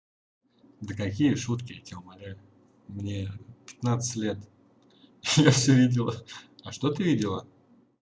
да какие шутки я тебя умоляю мне пятнадцать лет я всё видела а что ты видела